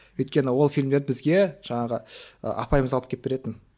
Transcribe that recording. өйткені ол фильмдерді бізге жаңағы ы апайымыз алып келіп беретін